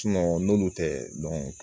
n'olu tɛ dɔn